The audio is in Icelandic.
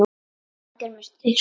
Það gerir þig stóran.